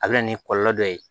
A bɛ na ni kɔlɔlɔ dɔ ye